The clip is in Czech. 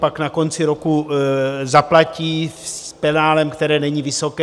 Pak na konci roku zaplatí s penále, které není vysoké.